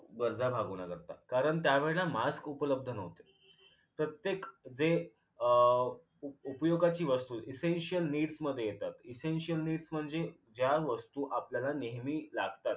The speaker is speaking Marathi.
गरज भागवण्याकरता कारण त्या वेळेला mask उपलब्ध न्हवते प्रत्येक जे अं उप उपयोगाची वस्तू essential needs मध्ये येतात essential needs म्हणजे ज्या वस्तू आपल्याला नेहमी लागतात